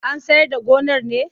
An sayar da gonar ne?